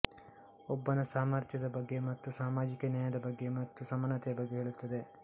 ಒಬ್ಬನ ಸಾಮರ್ಥ್ಯದ ಬಗ್ಗೆ ಮತ್ತು ಸಾಮಾಜಿಕ ನ್ಯಾಯದ ಬಗ್ಗೆ ಮತ್ತು ಸಮಾನತೆಯ ಬಗ್ಗೆ ಹೇಳುತ್ತದೆ